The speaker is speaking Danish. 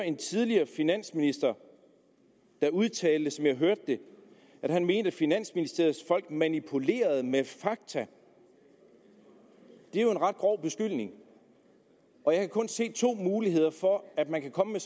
en tidligere finansminister udtale som jeg hørte det at han mente at finansministeriets folk manipulerede med fakta det er jo en ret grov beskyldning og jeg kan kun se to muligheder for at man kan komme med